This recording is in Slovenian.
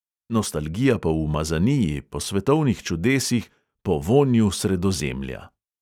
Nostalgija po umazaniji, po svetovnih čudesih, po vonju sredozemlja.